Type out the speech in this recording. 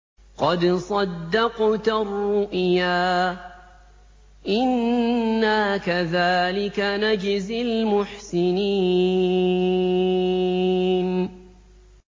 قَدْ صَدَّقْتَ الرُّؤْيَا ۚ إِنَّا كَذَٰلِكَ نَجْزِي الْمُحْسِنِينَ